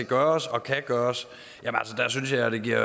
gøres og kan gøres synes jeg det giver